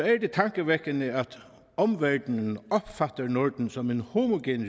er det tankevækkende at omverdenen opfatter norden som en homogen